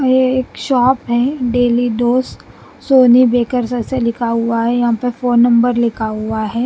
यह एक शॉप है डेली दोस्त सोनी बेकर ऐसे लिखा हुआ है यहाँ पे फोन नंबर लिखा हुआ है।